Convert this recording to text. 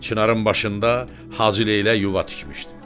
Çinarın başında Hacıleylək yuva tikmişdi.